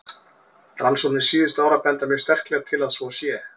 Rannsóknir síðustu ára benda mjög sterklega til að svo sé.